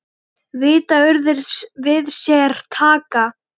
Vita urðir við sér taka.